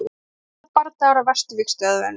Stöðugir bardagar á vesturvígstöðvunum.